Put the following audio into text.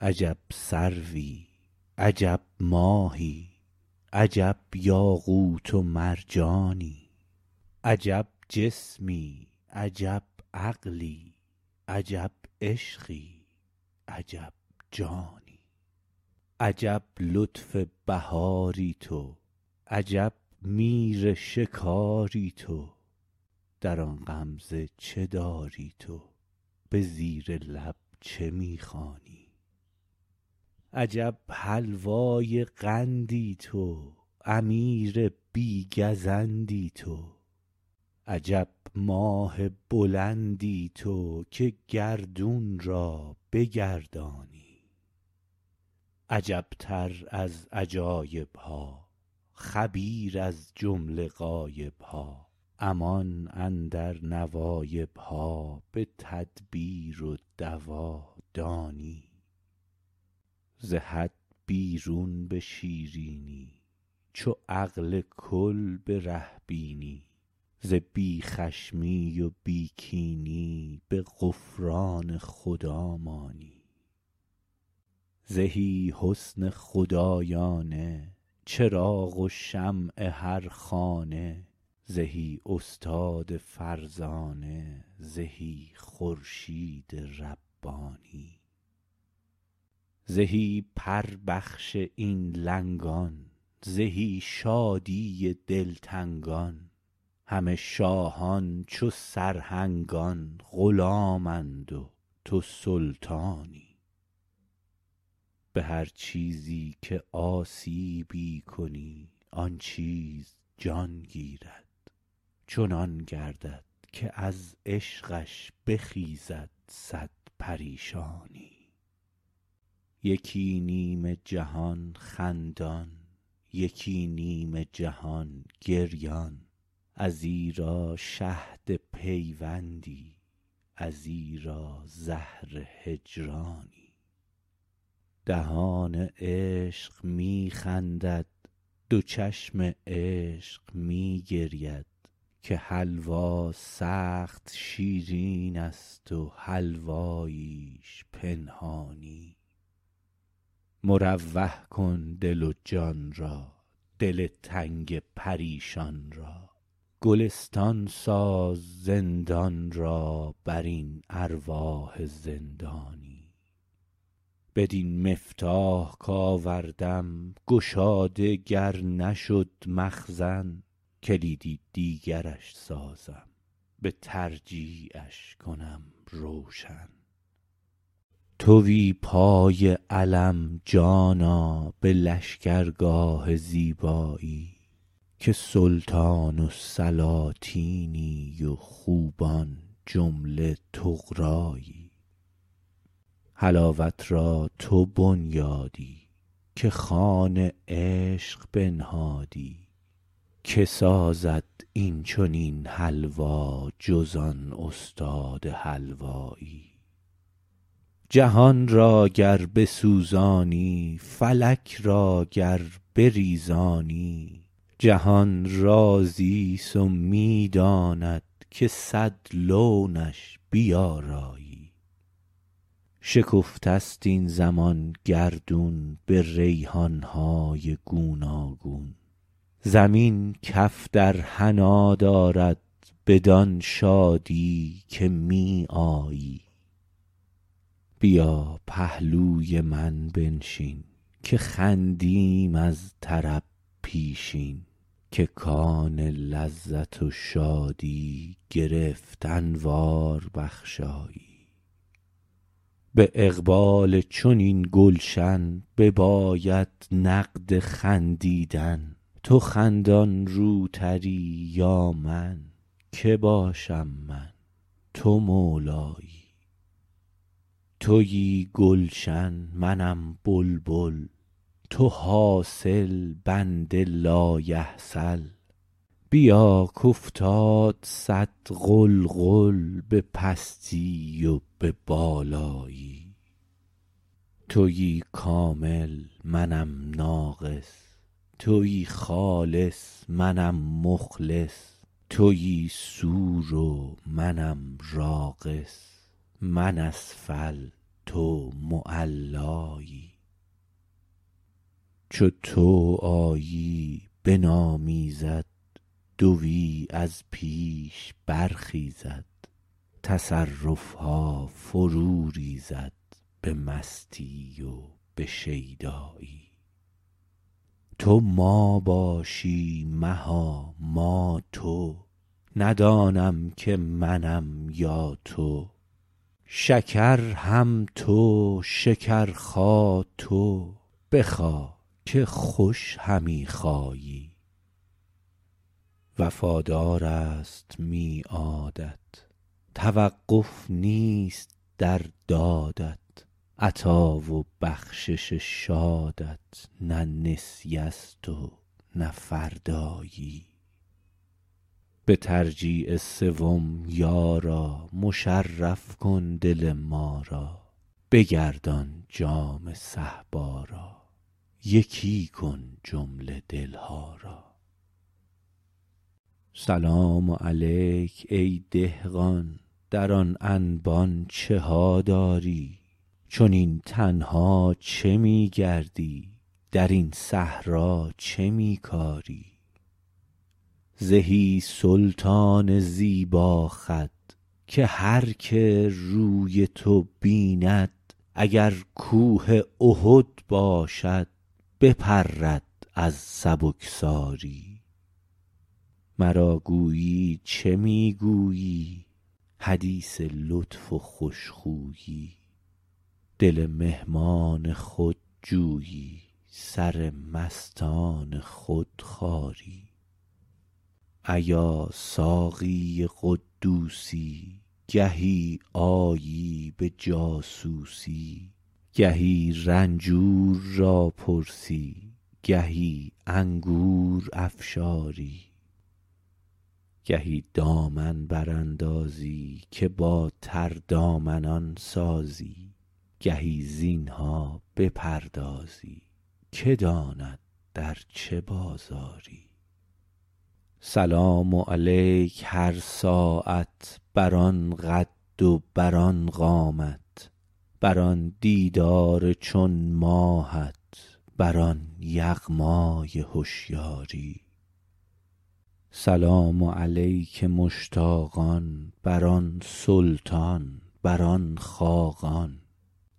عجب سروی عجب ماهی عجب یاقوت و مرجانی عجب جسمی عجب عقلی عجب عشقی عجب جانی عجب لطف بهاری تو عجب میر شکاری تو دران غمزه چه داری تو به زیر لب چه می خوانی عجب حلوای قندی تو امیر بی گزندی تو عجب ماه بلندی تو که گردون را بگردانی عجبتر از عجایبها خبیر از جمله غایبها امان اندر نواییها به تدبیر و دوا دانی ز حد بیرون به شیرینی چو عقل کل بره بینی ز بی خشمی و بی کینی به غفران خدا مانی زهی حسن خدایانه چراغ و شمع هر خانه زهی استاد فرزانه زهی خورشید ربانی زهی پربخش این لنگان زهی شادی دلتنگان همه شاهان چو سرهنگان غلامند و توسلطانی به هر چیزی که آسیبی کنی آن چیز جان گیرد چنان گردد که از عشقش بخیزد صد پریشانی یکی نیم جهان خندان یکی نیم جهان گریان ازیرا شهد پیوندی ازیرا زهر هجرانی دهان عشق می خندد دو چشم عشق می گرید که حلوا سخت شیرینست و حلواییش پنهانی مروح کن دل و جان را دل تنگ پریشان را گلستان ساز زندان را برین ارواح زندانی بدین مفتاح کآوردم گشاده گر نشد مخزن کلیدی دیگرش سازم به ترجیعش کنم روشن توی پای علم جانا به لشکرگاه زیبایی که سلطان السلاطینی و خوبان جمله طغرایی حلاوت را تو بنیادی که خوان عشق بنهادی کی سازد اینچنین حلوا جز آن استاد حلوایی جهان را گر بسوزانی فلک را گر بریزانی جهان راضیست و می داند که صد لونش بیارایی شکفته ست این زمان گردون به ریحانهای گوناگون زمین کف در حنی دارد بدان شادی که می آیی بیا پهلوی من بنشین که خندیم از طرب پیشین که کان لذت و شادی گرفت انوار بخشایی به اقبال چنین گلشن بیاید نقد خندیدن تو خندان روتری یا من کی باشم من تو مولایی توی گلشن منم بلبل تو حاصل بنده لایحصل بیا کافتاد صد غلغل به پستی و به بالایی توی کامل منم ناقص توی خالص منم مخلص توی سور و منم راقص من اسفل تو معلایی چو تو آیی بنامیزد دوی از پیش برخیزد تصرفها فرو ریزد به مستی و به شیدایی تو ما باشی مها ما تو ندانم که منم یا تو شکر هم تو شکر خا تو بخا که خوش همی خایی وفادارست میعادت توقف نیست در دادت عطا و بخشش شادت نه نسیه ست و نه فردایی به ترجیع سوم یارا مشرف کن دل ما را بگردان جام صهبا را یکی کن جمله دلها را سلام علیک ای دهقان در آن انبان چها داری چنین تنها چه می گردی درین صحرا چه می کاری زهی سلطان زیبا خد که هرکه روی تو بیند اگر کوه احد باشد بپرد از سبکساری مرا گویی چه می گویی حدیث لطف و خوش خویی دل مهمان خود جویی سر مستان خود خاری ایا ساقی قدوسی گهی آیی به جاسوسی گهی رنجور را پرسی گهی انگور افشاری گهی دامن براندازی که بر تردامنان سازی گهی زینها بپردازی کی داند در چه بازاری سلام علیک هر ساعت بر آن قد و بر آن قامت بر آن دیدار چون ماهت بر آن یغمای هشیاری سلام علیک مشتاقان بر آن سلطان بر آن خاقان